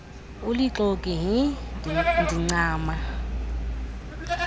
ulixoki hi ndincama